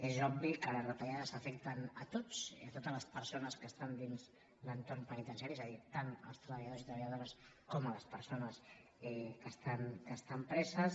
és obvi que les retallades afecten tothom totes les persones que estan dins l’entorn penitenciari és a dir tant els treballadors i treballadores com les persones que estan preses